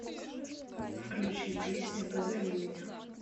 включи песня позови меня